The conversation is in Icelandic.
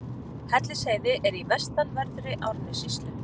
Hellisheiði er í vestanverðri Árnessýslu.